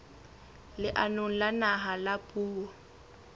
leanong la naha la puo